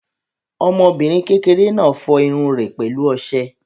Ọmọbìnrin kékeré náà fọ irun rẹ̀ pẹ̀lú ọṣẹ.